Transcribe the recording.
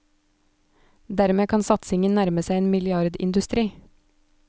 Dermed kan satsingen nærme seg en milliardindustri.